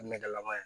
Nɛgɛlama ye